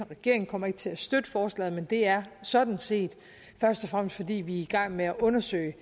regeringen kommer ikke til at støtte forslaget men det er sådan set først og fremmest fordi vi er i gang med at undersøge